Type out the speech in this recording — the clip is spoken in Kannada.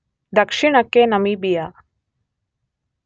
ದಕ್ಷಿಣಕ್ಕೆ ನಮಿಬಿಯ